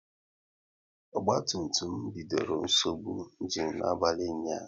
Ogba tum tum bidoro nsogbu ịnginu n'abalị ụnyaahụ